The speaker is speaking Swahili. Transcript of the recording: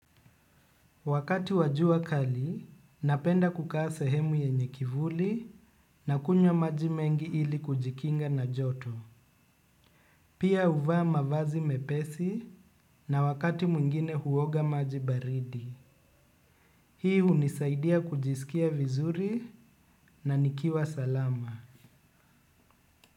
Wakati wa jua kali, napenda kukaa sahemu yenye kivuli nakunywa maji mengi ili kujikinga na joto. Pia huvaa mavazi mepesi na wakati mwingine huoga maji baridi. Hii hunisaidia kujisikia vizuri na nikiwa salama.